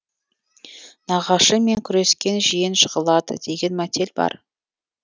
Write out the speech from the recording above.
нағашымен күрескен жиен жығылады деген мәтел бар